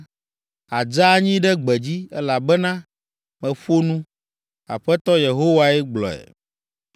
Àdze anyi ɖe gbedzi, elabena meƒo nu; Aƒetɔ Yehowae gblɔe.